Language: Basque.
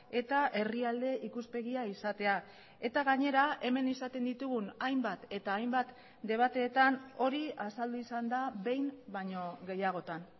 eta herrialde ikuspegia izatea eta gainera hemen izaten ditugun hainbat eta hainbat debateetan hori azaldu izan da behin baino gehiagotan